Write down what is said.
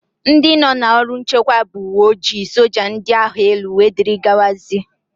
Ndị nọ n'ọrụ nchekwa bụ: ùwé ojii, soja, ndị agha élú wdz